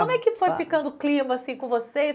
Como é que foi ficando o clima assim com vocês?